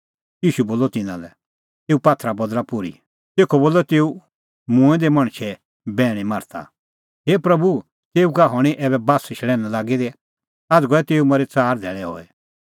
ईशू बोलअ तिन्नां लै एऊ पात्थरा बदल़ा पोर्ही तेखअ बोलअ तेऊ मूंऐं दै मणछे बैहणी मार्था हे प्रभू तेऊ का हणीं ऐबै बास्सशल़ैन्ह लागी दी आझ़ गऐ तेऊ मरी च़ार धैल़ै हई